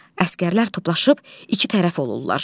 Əsgərlər toplaşıb iki tərəf olurlar.